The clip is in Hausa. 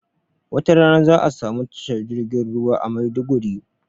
wata rana za'a samu tashar jirgin ruwa a Maiduguri